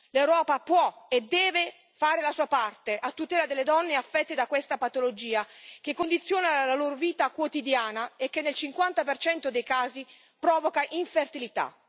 L'Europa può e deve fare la sua parte a tutela delle donne affette da questa patologia che condiziona la loro vita quotidiana e che nel 50 dei casi provoca infertilità.